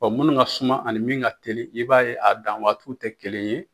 munnu ka suma ani min ka teli i b'a ye a dan waatiw tɛ kelen ye.